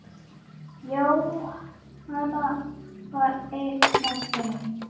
Jóhanna var ein af þeim.